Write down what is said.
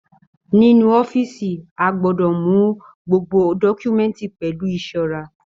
Nínú ọ̀fiísí, a gbọdọ mú gbogbo dọkumẹ̀ntí pẹlu ìṣọrà.